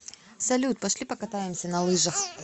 салют пошли покатаемся на лыжах